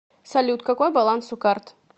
салют какой баланс у карт